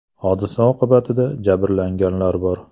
Hodisa oqibatida jabrlanganlar bor.